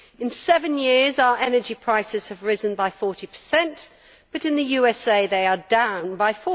In seven years, our energy prices have risen by 40, but in the USA they are down by